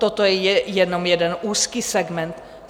Toto je jenom jeden úzký segment.